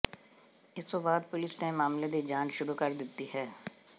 ਇਸ ਤੋਂ ਬਾਅਦ ਪੁਲੀਸ ਨੇ ਮਾਮਲੇ ਦੀ ਜਾਂਚ ਸ਼ੁਰੂ ਕਰ ਦਿੱਤੀ ਹੈ